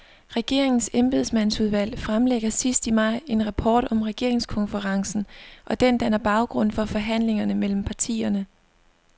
Regeringens embedsmandsudvalg fremlægger sidst i maj en rapport om regeringskonferencen, og den danner baggrund for forhandlingerne mellem partierne.